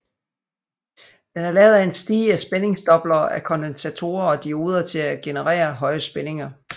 Den er lavet af en stige af spændingsdoblere af kondensatorer og dioder til at genererer høje spændinger